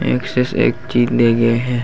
एक से एक चीज ले गे हे।